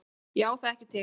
Ég á það ekki til.